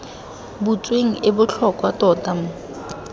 butsweng e botlhokwa tota mo